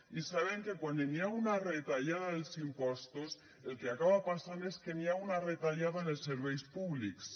i sabem que quan hi ha una retallada dels impostos el que acaba passant és que hi ha una retallada en els serveis públics